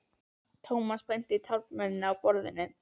Thomas benti á taflmennina á borðinu.